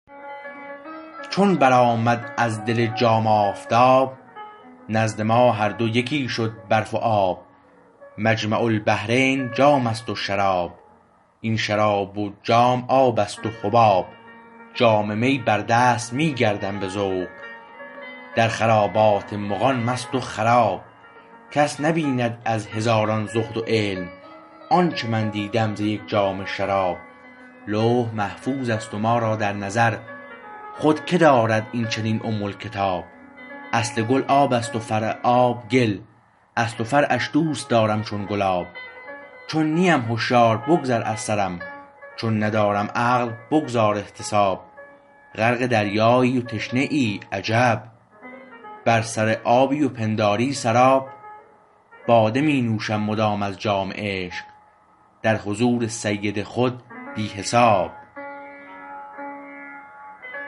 چون بر آمد از دل جام آفتاب نزد ما هر دو یکی شد برف و آب مجمع البحرین جامست و شراب این شراب و جام آبست و حباب جام می بردست می گردم به ذوق در خرابات مغان مست و خراب کس نبیند از هزاران زهد و علم آنچه من دیدم ز یک جام شراب لوح محفوظ است ما را در نظر خود که دارد این چنین ام الکتاب اصل گل آب است و فرع آب گل اصل و فرعش دوست دارم چون گلاب چون نیم هشیار بگذر از سرم چون ندارم عقل بگذار احتساب غرق دریایی و تشنه ای عجب بر سر آبی و پنداری سراب باده می نوشم مدام از جام عشق در حضور سید خود بی حساب